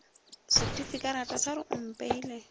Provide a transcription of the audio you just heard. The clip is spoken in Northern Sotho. setifikarata sa re o mpeile